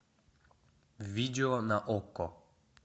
видео на окко